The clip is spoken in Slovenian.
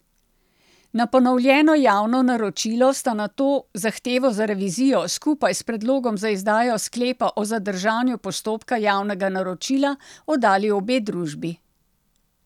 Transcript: Na ponovljeno javno naročilo sta nato zahtevo za revizijo, skupaj s predlogom za izdajo sklepa o zadržanju postopka javnega naročila, oddali obe družbi.